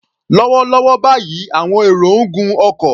Lọ́wọ́lọ́wọ́ báyìí, àwọn èrò ń gun ọkọ̀.